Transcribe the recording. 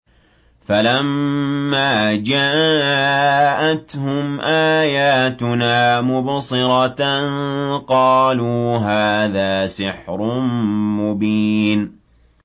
فَلَمَّا جَاءَتْهُمْ آيَاتُنَا مُبْصِرَةً قَالُوا هَٰذَا سِحْرٌ مُّبِينٌ